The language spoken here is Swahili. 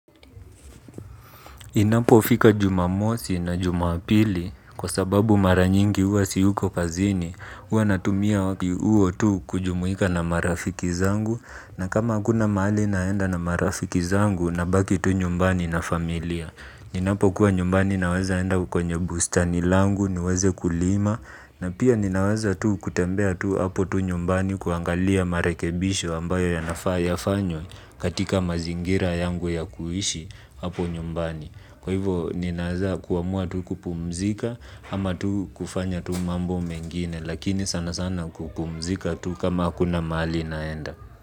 Inapo fika jumamosi na jumapili kwa sababu maranyingi huwa siyuko kazini, huwa natumia huo tu kujumuika na marafiki zangu na kama hakuna mahali naenda na marafiki zangu nabaki tu nyumbani na familia. Ninapo kuwa nyumbani naweza enda kwenye bustani langu niweze kulima na pia ninaweza tu kutembea tu hapo tu nyumbani kuangalia marekebisho ambayo ya nafayafanywe katika mazingira yangu ya kuishi hapo nyumbani. Kwa hivo ninaweza kuamua tu kupumzika ama tu kufanya tu mambo mengine lakini sana sana kupumzika tu kama hakuna mahali naenda.